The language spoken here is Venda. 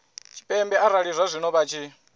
tshipembe arali zwazwino vha tshi